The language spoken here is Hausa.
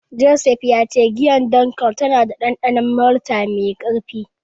Joseph ya ce giyar Dunkel tana da dandanon malta mai karfi.